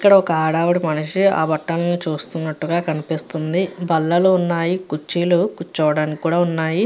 ఇక్కడ ఒక ఆదవిడ మనిషి ఆ బట్టల్ని చూస్తున్నట్టుగా కనిపిస్తుంది బల్లలు ఉన్నాయి కుర్చీలు కూర్చోడానికి కూడా ఉన్నాయి.